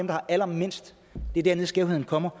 har allermindst det er dernede skævheden kommer